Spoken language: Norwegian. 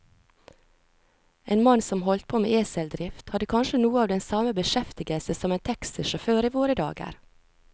En mann som holdt på med eseldrift, hadde kanskje noe av den samme beskjeftigelse som en taxisjåfør i våre dager.